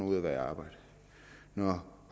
ud af at være i arbejde når